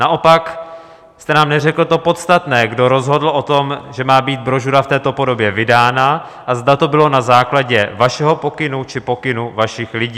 Naopak jste nám neřekl to podstatné: kdo rozhodl o tom, že má být brožura v této podobě vydána, a zda to bylo na základě vašeho pokynu, či pokynu vašich lidí.